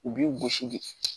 U b'i gosi de